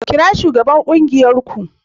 Kira shugaban kungiyar ku